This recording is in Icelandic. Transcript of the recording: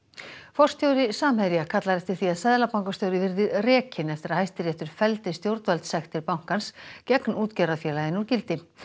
forstjóri Samherja kallar eftir því að seðlabankastjóri verði rekinn eftir að Hæstiréttur felldi stjórnvaldssektir bankans gegn útgerðarfélaginu úr gildi